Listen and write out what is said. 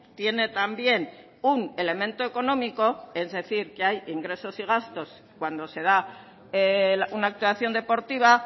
tiene también un elemento económico es decir que hay ingresos y gastos cuando se da una actuación deportiva